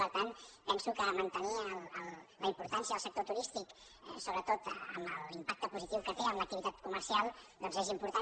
per tant penso que mantenir la importància del sector turístic sobretot amb l’impacte positiu que té en l’activitat comercial doncs és important